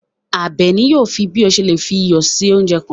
Àbèní yóò fí bí o ṣè lè fí iyọ sí ọ̀unjẹ kan.